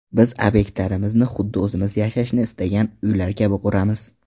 Biz obyektlarimizni, huddi o‘zimiz yashashni istagan uylar kabi quramiz.